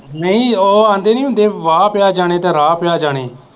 ਨਹੀਂ ਉਹ ਆਉਂਦੇ ਨਹੀਂ ਹੁੰਦੇ, ਵਾਹ ਪਿਆ ਜਾਣੇ ਤਾਂ ਰਾਹ ਪਿਆ ਜਾਣੇ